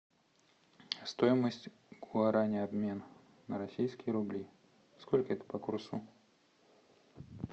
стоимость гуарани обмен на российские рубли сколько это по курсу